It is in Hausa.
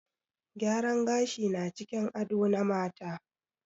Gyaran gashi na cikin ado na mata.